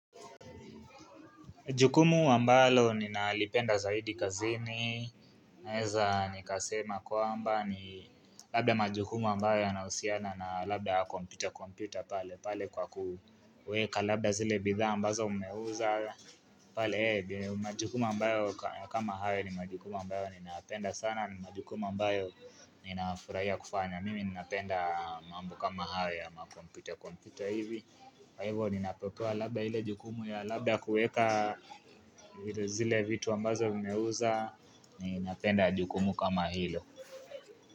Jukumu ambalo ninalipenda zaidi kazini, naweza nikasema kwamba ni labda majukumu ambayo yanahusiana na labda kompyuta kompyuta pale pale kwa kuweka, labda zile bidhaa ambazo mmeuza, pale ee, majukumu ambayo kama hayo ni majukumu ambayo ninapenda sana, majukumu ambayo ninafurahia kufanya, mimi ninapenda mambo kama hayo ya makompyuta kompyuta hivi, Kwa hivyo ninapopewa labda ile jukumu ya labda kuweka zile vitu ambazo mmeuza Ninapenda jukumu kama hilo.